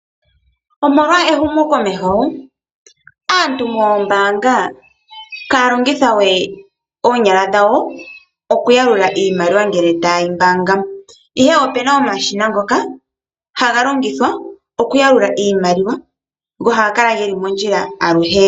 Omolwa ehumokomeho aantu moombaanga ihaya longitha we oonyala dhawo okuyalula iimalwa ngele taye yi mbaanga. Ihe opuna omashina ngoka haga longithwa okuyalula iimaliwa, ngoka haga kala geli mondjila aluhe.